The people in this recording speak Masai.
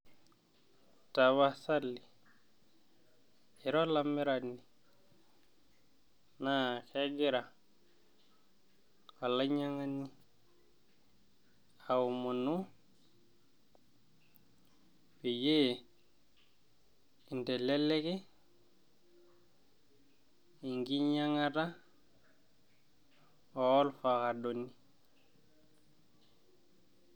Tapasali ira olamirani naa kegira olainyangani aomonu peyie inteleleki enkinyanga orfakado